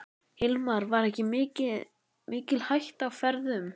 Hilmar: Var mikil hætta á ferðum?